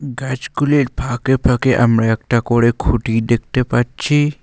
গাছগুলির ফাঁকে ফাঁকে আমরা একটা করে খুঁটি দেখতে পাচ্ছি।